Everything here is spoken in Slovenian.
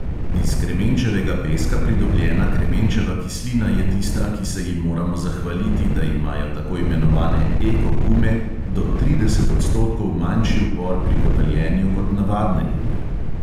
Iz kremenčevega peska pridobljena kremenčeva kislina je tista, ki se ji moramo zahvaliti, da imajo tako imenovane eko gume do trideset odstotkov manjši upor pri kotaljenju kot navadne gume.